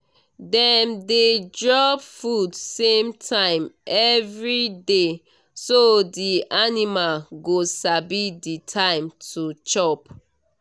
dem dey drop food same time everyday so the animal go sabi the time to chop